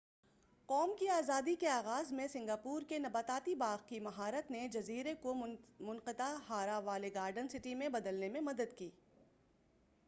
قوم کی آزادی کے آغاز میں سنگاپور کے نباتاتی باغ کی مہارت نے جزیرے کو منطقہ حارہ والے گارڈن سٹی میں بدلنے میں مدد کی